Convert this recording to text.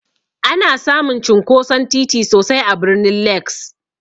Ana samun cinkoson titi sosai a birnin Legss.